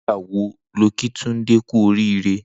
Nigbà wó ló kí Tunde kù óriré?